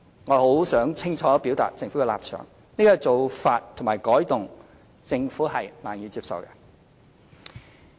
我很想清楚表達政府的立場，這種做法和改動政府是難以接受的。